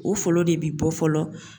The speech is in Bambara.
O folo de bi bɔ fɔlɔ